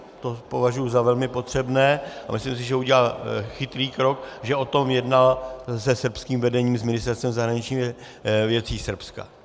To považuji za velmi potřebné a myslím si, že udělal chytrý krok, že o tom jednal se srbským vedením, s Ministerstvem zahraničních věcí Srbska.